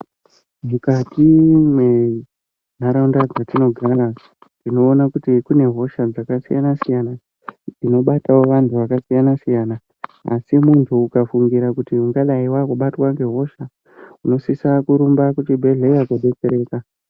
Mukati mwenharaunda dzatinogara tinoona kuti mune hosha dzakasiyana siyana dzinobatawo vanhu vakasiyana siyana asi muntu akafungira kuti ungadai wakubatwe ngehosha, unosisa kurumba kuchibhedhlera kodetsereka.